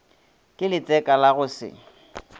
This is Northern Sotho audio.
ke letseka la go se